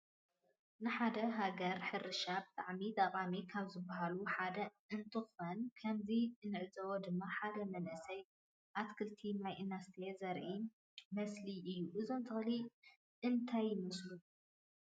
ንሓደ ሃገር ሕርሻ ብጣዕሚ ጠቃሚ ካብ ዝበሃሉ ሓደ እንትኮነ ከመዚ እንዕዞቦ ድማ ሓደ መንእሰየ አትከልቲ ማይ እናስተየ ዘሪኢ መስሊ እዩ። እዞም ተክሊ እነታይ ይመስሉኩም